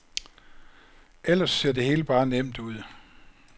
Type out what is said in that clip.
Eller ser det hele bare nemt ud.